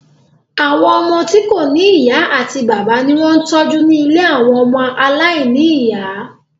Àwọn ọmọ tí kò ní ìyá àti bàbá ni wọ́n ń tọ́jú ní ilé àwọn ọmọ aláìní ìyá